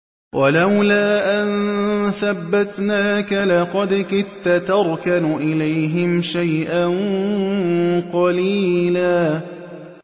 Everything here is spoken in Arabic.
وَلَوْلَا أَن ثَبَّتْنَاكَ لَقَدْ كِدتَّ تَرْكَنُ إِلَيْهِمْ شَيْئًا قَلِيلًا